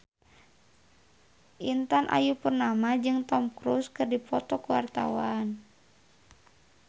Intan Ayu Purnama jeung Tom Cruise keur dipoto ku wartawan